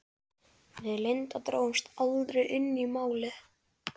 Við Linda drógumst því aldrei inn í Málið.